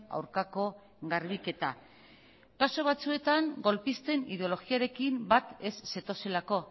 aurkako garbiketa kasu batzuetan golpisten ideologiarekin bat ez zetozelako